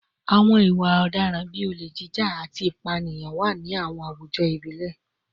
Àwọn ìwà ọ̀daràn bíi olè jíjà, olè jíjà, àti ìpànìyàn wà ní àwọn àwùjọ ìbílẹ̀